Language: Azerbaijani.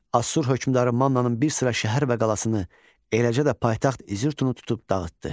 Asur hökmdarı Mannanın bir sıra şəhər və qalasını, eləcə də paytaxt İzirtunu tutub dağıtdı.